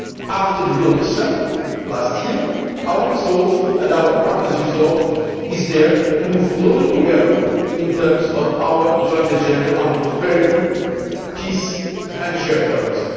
there. After the Vilnius Summit last year, our resolve, and our partners' resolve, is to move closer together in terms of our joint agenda on prosperity, peace and shared